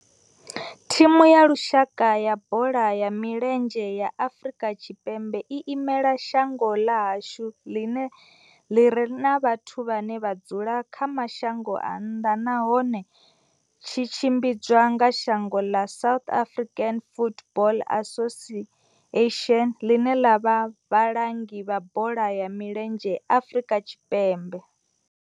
Thimu ya lushaka ya bola ya milenzhe ya Afrika Tshipembe i imela shango ḽa hashu ḽi re na vhathu vhane vha dzula kha mashango a nnḓa nahone tshi tshimbidzwa nga dzangano la South African Football Association, ḽine ḽa vha vhalangi vha bola ya milenzhe Afrika Tshipembe.